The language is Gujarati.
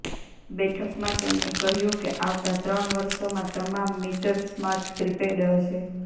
બેઠકમાં તેમણે કહ્યું કે આવતા ત્રણ વર્ષોમાં તમામ મીટર સ્માર્ટ પ્રીપેડ હશે